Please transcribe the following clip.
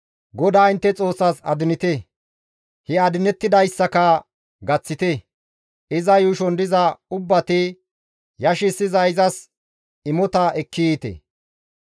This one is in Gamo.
GODAA intte Xoossaas adinite; he adinettidayssaka gaththite; iza yuushon diza ubbati yashissiza izas imota ekki yiite.